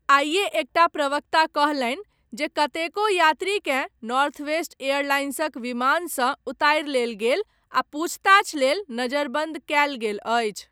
आइये एकटा प्रवक्ता कहलनि जे कतेको यात्रीकेँ नॉर्थवेस्ट एयरलाइंसक विमानसँ उतारि लेल गेल आ पूछताछ लेल नजरबन्द कयल गेल अछि।